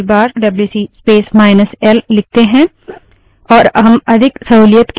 और हम अधिक सहूलियत के साथ वही परिणाम पा सकते हैं